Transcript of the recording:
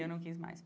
Eu não quis mais.